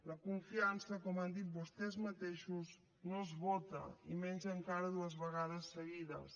la confiança com han dit vostès mateixos no es vota i menys encara dues vegades seguides